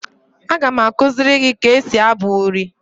Aga m akuziri gi ka esi abu uri